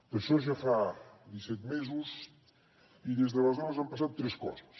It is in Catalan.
d’això ja fa disset mesos i des d’aleshores han passat tres coses